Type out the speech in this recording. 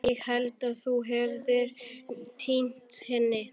Ég hélt að þú hefðir týnt henni.